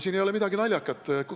Siin ei ole midagi naljakat.